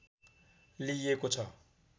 लिइएको छ